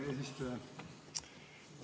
Hea eesistuja!